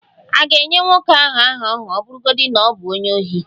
A ga-enye nwoke ahụ aha ahụ ọ bụrụgodị na ọ bụ onye ohi?